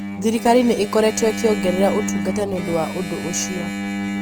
thirikari nĩ ĩkoretwo ĩkĩongerera ũtungata nĩ ũndũ wa ũndũ ũcio.